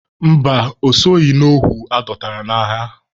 Mba, o soghi n'ohu adọtara n'agha.